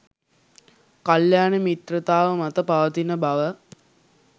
කල්‍යාණ මිත්‍රතාව මත පවතින බව